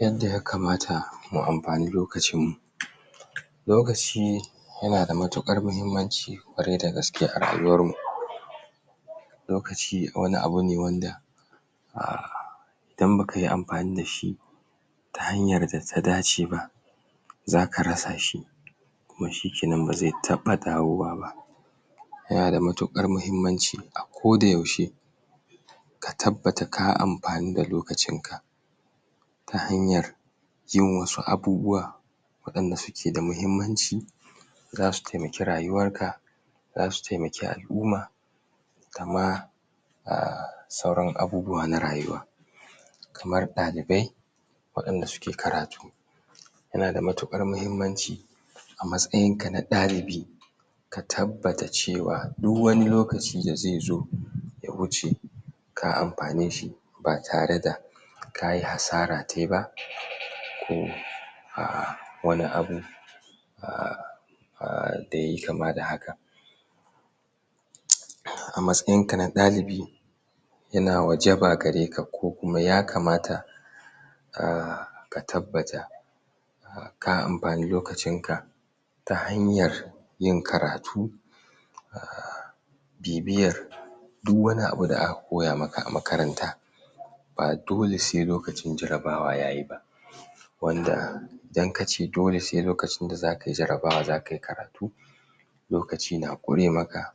yanda ya kamata mu amfani lokacin mu lokaci yana da matuƙar mahimmanci ƙwarai da gaske a rayuwar mu lokaci wani abu ne wanda a idan bakayi amfani dashi ta hanyar da ta dace ba zaka rasashi kuma shikenan bazai taɓa dawo wa ba yana da matuƙar mahimmanci a ko da yaushe ka tabbata ka amfanu da lokacinka ta hanyar yin wasu abubuwa waɗanda suke da mahimmanci zasu taimaki rayuwarka zasu taimaki al'uma kama a sauran abubuwa na rayuwa kamar ɗalibai waɗanda suke karatu yana da matuƙar mahimmanci a matsayinka na ɗalibi ka tabbata cewa du wani lokaci da zaizo ya wuce ka amfaneshi ba tare da kayi hasara taiba ko a wani abu a da yayi kama da haka a matsayinka na ɗalibi yana wajaba gareka ko kuma ya kamata a ka tabbata ka amfane lokacinka ta hanyar yin karatu a bibiyar du wani abu da aka koya maka a makaranta ba dole sai lokacin jarabawa yayi ba wanda idan akace dole sai lokacin da zakayi jarabawa zakayi karatu lokaci na ƙure maka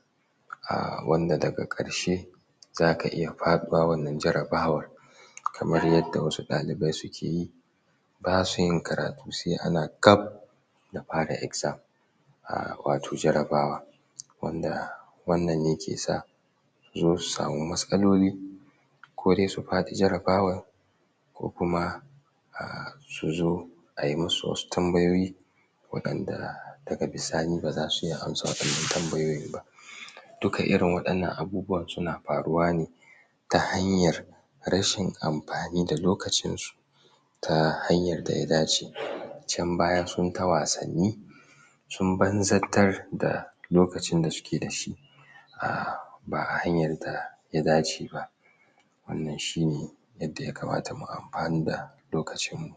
a wanda daga karshe zaka iya faɗuwa wannan jarabawar kamar yanda wasu ɗalibai sukeyi basuyin karatu sai ana gab da fara exam a wato jarabawa wanda wannan yake sa suzo su sami matsalolo ko dai su faɗi jarabawar ko kuma a'a suzo ayi musu wasu tambayoyi waɗanda daga bisani baza su iya amsa waɗannan tambayoyin ba duka irin waɗannan abubuwan suna faruwa ne ta hanyar rashin amfani da lokacinsu ta hanyar daya dace can baya sunta wasanni sun banzatar da lokacin da suke dashi ba a hanyan da ya dace ba wannan shine yadda yakamata mu amfanu da lokacin mu